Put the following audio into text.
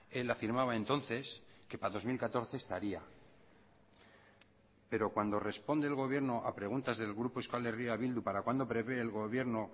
él afirmaba entonces que para dos mil catorce estaría pero cuando responde el gobierno a preguntas del grupo euskal herria bildu para cuándo prevé el gobierno